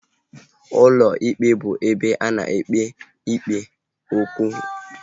Ụlọ ikpe bụ ụlọ ebe ana ekpebi okwu gbasara ịwụ site n'aka ndị ọkà ikpe